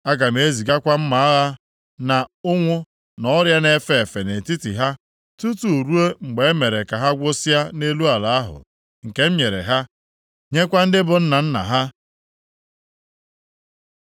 Aga m ezigakwa mma agha na ụnwụ na ọrịa na-efe efe nʼetiti ha, tutu ruo mgbe e mere ka ha gwụsịa nʼelu ala ahụ nke m nyere ha, nyekwa ndị bụ nna nna ha.’ ”